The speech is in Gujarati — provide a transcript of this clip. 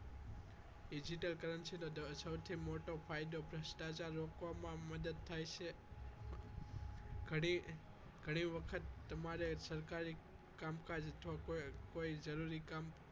Digital currency નો સૌથી મોટો ફાયદો ભ્રષ્ટાચાર રોકવામાં મા થાય છે ઘણી ઘણી વખત તમારે સરકારી કામકાજ અથવા કોઈ જરૂરી કામ